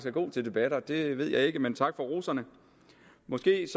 er god til debatter det ved jeg ikke men tak for roserne måske